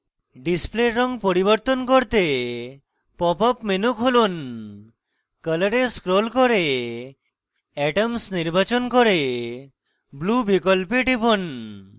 display রঙ পরিবর্তন করতে pop up menu খুলুন color এ scroll করে atoms নির্বাচন করে blue বিকল্পে টিপুন